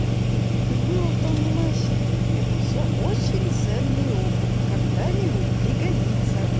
как было в том мемасики это все очень ценный опыт когда-нибудь пригодится